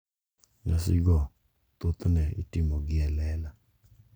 Nyasigo thothne itimogi e lela.